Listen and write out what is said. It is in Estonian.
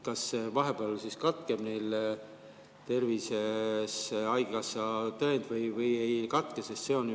Kas vahepeal siis katkeb neil haigekassatõend või ei katke?